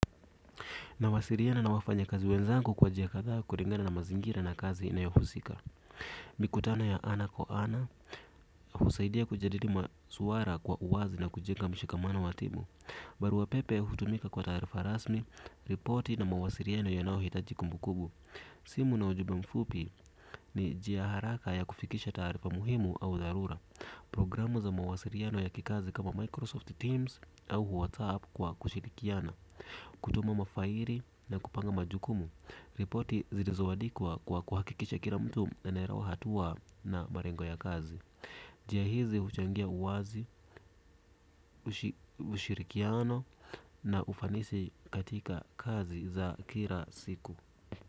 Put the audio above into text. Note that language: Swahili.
Nawasiliana na wafanyakazi wenzangu kwa njia kadhaa kulingana na mazingira na kazi inayohusika. Mikutano ya ana kwa ana, husaidia kujadili maswala kwa uwazi na kujenga mshikamano wa timu. Barua pepe hutumika kwa taarifa rasmi, ripoti na mawasiliano yanayohitaji kumbukumbu. Simu na ujumbe mfupi ni njia haraka ya kufikisha taarifa muhimu au dharura. Programu za mawasiliano ya kikazi kama Microsoft Teams au Whatsapp kwa kushirikiana. Kutuma mafaili na kupanga majukumu, ripoti zilizoandikwa kwa kuhakikisha kila mtu anaelewa hatua na malengo ya kazi. Njia hizi huchangia uwazi, ushirikiano na ufanisi katika kazi za kila siku.